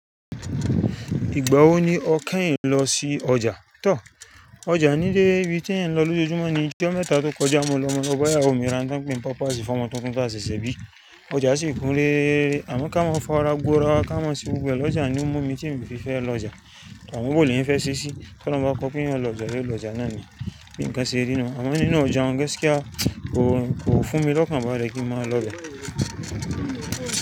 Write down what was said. Ìgbà wo ni ọ kẹ́yìn lọ sí ọjà? Tọ́, ọjà nílé ibí tí èèyàn ń lọ lójoojúmọ́ ní ọjọ́ mẹ́ta tó kọjá. Mo lọ bá ìyàwó mi ra ohun tí wọ́n pé ni pampers fọ́mọ tuntun tá ṣẹ̀ṣẹ̀ bí. Ọjà sì kún lé, àmọ́ ká mọ́ fọ́ra gbọ́ra ká mọ́ ṣe gbogbo ẹ lọ́jà ni ó mú mi tí mi ò fi fẹ́ lọ ọjà, àmọ́ bó ni èèyàn fẹ́ ṣe ṣí, tí ọlọ́run bá kọ pé èèyàn ò lọ ọjà, èèyàn lọ ọjà náà ni bí nǹkan ṣe rí ná. Àmọ́ nínú ọjà un gaskia kò fún mi lọ́kàn bále kí mo má lọ bẹ̀.